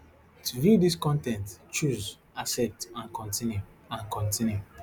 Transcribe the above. to view dis con ten t choose accept and continue and continue